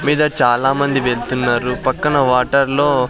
మీద చాలా మంది వెళ్తున్నారు పక్కన వాటర్ లో .